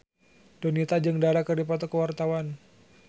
Donita jeung Dara keur dipoto ku wartawan